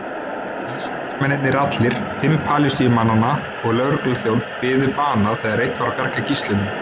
Ísraelsmennirnir allir, fimm Palestínumannanna og lögregluþjónn biðu bana þegar reynt var að bjarga gíslunum.